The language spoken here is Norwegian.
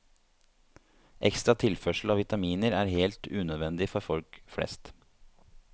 Ekstra tilførsel av vitaminer er helt unødvendig for folk flest.